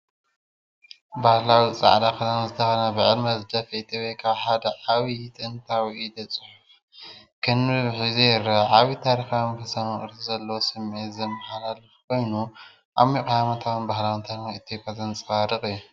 ባህላዊ ጻዕዳ ክዳን ዝተኸድነ ብዕድመ ዝደፍአ ኢትዮጵያዊ ካብ ሓደ ዓቢይን ጥንታዊን ኢደ-ጽሑፍ ከንብብ ሒዙ ይርአ። ዓብይ ታሪኻውን መንፈሳውን ቅርሲ ዘለዎ ስምዒት ዘመሓላልፍ ኮይኑ፡ ዓሚቝ ሃይማኖታውን ባህላውን ታሪኽ ኢትዮጵያ ዘንጸባርቕ እዩ።